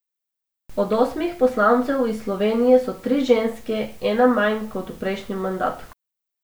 Od osmih poslancev iz Slovenije so tri ženske, ena manj kot v prejšnjem mandatu.